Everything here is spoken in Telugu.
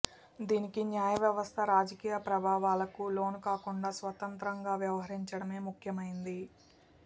దీనికి న్యాయ వ్యవస్థ రాజకీయ ప్రభావాలకు లోనుకాకుండా స్వతంత్రంగా వ్యవహరించడమే ముఖ్యమైంది